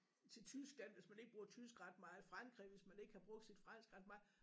Til Tyskland hvis man ikke bruger tysk ret meget Frankrig hvis man ikke har brugt sit fransk ret meget